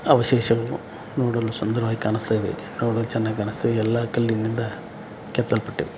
ಅವಶೇಷಗಳು ನೋಡಲು ಸುಂದರವಾಗಿ ಕಾಣುಸ್ತಿದೆ ನೋಡಲು ಚೆನ್ನಾಗಿದೆ ಎಲ್ಲಾ ಕಲ್ಲಿನಿಂದ ಕೆತ್ತಲ್ಪಟ್ಟಿದೆ.